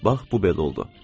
Bax bu belə oldu.